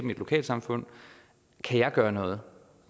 mit lokalsamfund kan jeg gøre noget